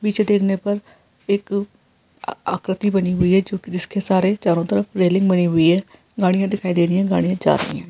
पीछे देखने पर एक अ आकृति बनी हुई जो कि जिसके सारे चारो तरफ रेलिंग बनी हुई हैगाड़िया दिखाई दे रही है गाड़िया जा रही है।